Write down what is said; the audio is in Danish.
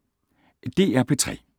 DR P3